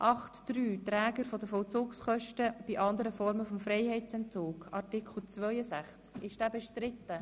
Wir kommen zur Abstimmung über den obsiegenden Antrag.